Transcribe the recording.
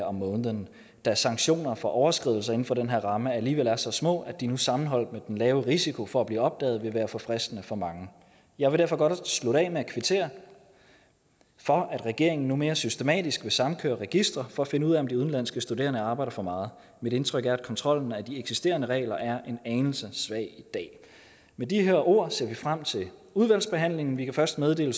om måneden da sanktioner for overskridelser inden for den her ramme alligevel er så små at de nu sammenholdt med den lave risiko for at blive opdaget vil være for fristende for mange jeg vil derfor godt slutte af med at kvittere for at regeringen nu mere systematisk vil samkøre registre for at finde ud af om de udenlandske studerende arbejder for meget mit indtryk er at kontrollen af de eksisterende regler er en anelse svag i dag med de her ord ser vi frem til udvalgsbehandlingen vi kan først meddele